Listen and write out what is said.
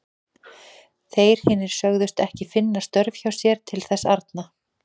Þeir hinir sögðust ekki finna þörf hjá sér til þess arna.